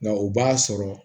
Nka o b'a sɔrɔ